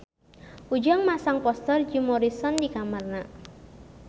Ujang masang poster Jim Morrison di kamarna